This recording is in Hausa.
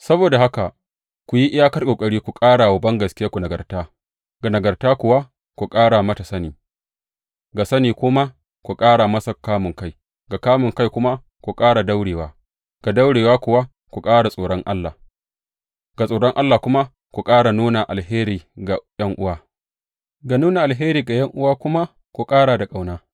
Saboda haka, ku yi iyakar ƙoƙari ku ƙara wa bangaskiyarku nagarta; ga nagarta kuwa, ku ƙara mata sani; ga sani kuma ku ƙara masa kamunkai; ga kamunkai kuma ku ƙara da daurewa; ga daurewa kuwa ku ƙara da tsoron Allah; ga tsoron Allah kuma ku ƙara da nuna alheri ga ’yan’uwa; ga nuna alheri ga ’yan’uwa kuma ku ƙara da ƙauna.